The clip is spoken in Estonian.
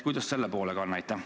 Kuidas selle poolega on?